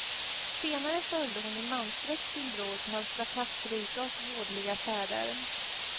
Senare följde hon i mansdräkt sin bror på hans strapatsrika och vådliga färder.